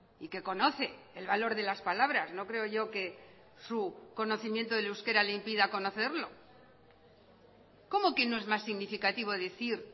y que conoce el valor de las palabras no creo yo que su conocimiento del euskera le impida conocerlo cómo que no es más significativo decir